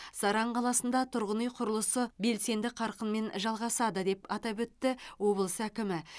саран қаласында тұрғын үй құрылысы белсенді қарқынмен жалғасады деп атап өтті облыс әкімі